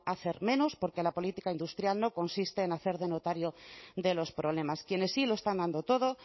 hacer menos porque la política industrial no consiste en hacer de notario de los problemas quienes sí lo están dando todo